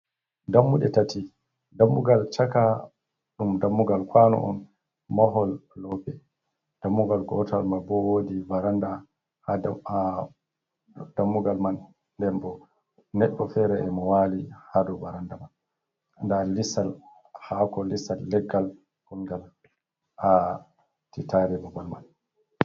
Dammuɗe tati, dammugal chaaka ɗum dammugal kwano'on mahol loope. Dammugal gootal mabo woodi varanda ha dou, haa dammugal man ndenbo nedɗo feere emoo waalii haadou baranda man nda liisal haako, lisal leggal ngongal ha titare babal man.